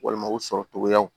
Walima u sɔrɔ cogoyaw